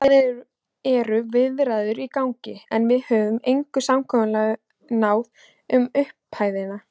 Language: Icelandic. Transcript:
Það eru viðræður í gangi, en við höfum engu samkomulagi náð um upphæðir.